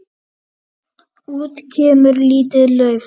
Út kemur lítið lauf.